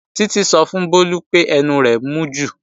Títí sọ fún Bólú pé ẹnu rẹ̀ ti mú jù